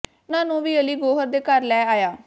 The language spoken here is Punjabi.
ਮੈਂ ਉਨ੍ਹਾਂ ਨੂੰ ਵੀ ਅਲੀ ਗੌਹਰ ਦੇ ਘਰ ਲੈ ਆਇਆ